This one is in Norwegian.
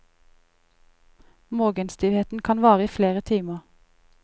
Morgenstivheten kan vare i flere timer.